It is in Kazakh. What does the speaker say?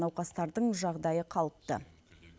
науқастардың жағдайы қалыпты